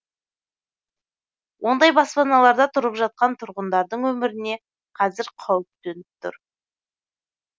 ондай баспаналарда тұрып жатқан тұрғындардың өміріне қазір қауіп төніп тұр